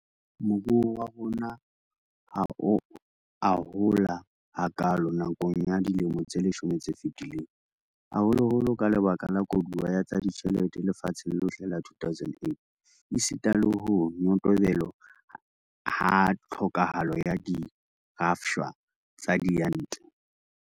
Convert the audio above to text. Moruo wa rona ha o a hola hakaalo nakong ya dilemo tse leshome tse fetileng, haholoholo ka lebaka la koduwa ya tsa ditjhelete lefatsheng lohle ya 2008 esita le ho nyotobelo ha tlhokahalo ya dirafshwa tsa diyantle.